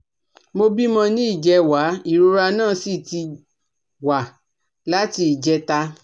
Mo bímọ ní ìjẹwàá ìrora náà sì ti wà láti ìjẹta